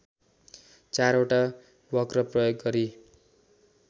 चारवटा वक्र प्रयोग गरी